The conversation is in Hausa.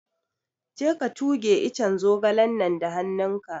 Je ka tuge iccen zogalen nan da hannun ka!